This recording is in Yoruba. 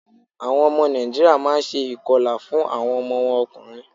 Àwọn ọmọ Nàìjíríà má a n se ìkọlà fún àwọn ọmọ wọn ọkùnrin